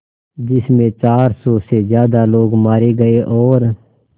जिस में चार सौ से ज़्यादा लोग मारे गए और